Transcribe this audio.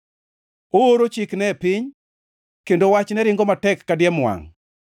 Ooro chikne e piny, kendo wachne ringo matek ka diemo wangʼ.